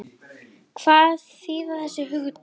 Hvað þýða þessi hugtök?